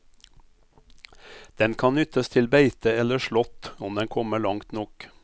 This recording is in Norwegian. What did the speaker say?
Den kan nyttes til beite eller slått om den kommer langt nok.